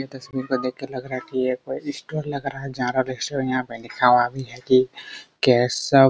यह तस्बीर को देख के लग रहा है की ये कोई स्टोर लग रहा है स्टोर यहाँ पे लिखा हुआ है की केशव --